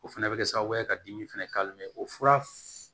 O fɛnɛ bɛ kɛ sababu ye ka dimi fɛnɛ ka o fura